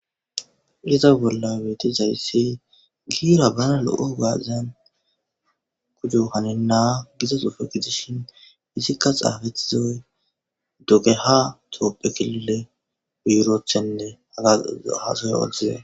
Iza bolla weeti zayssi giira bana lo'o gaazan kuju hanenna gizasufe gidishin izikka xaafetizoy doge ha toophekilile biiroothenne haga haasoy wodize.